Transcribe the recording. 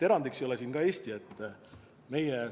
Erand ei ole ka Eesti.